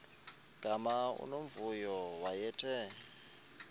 gama unomvuyo wayethe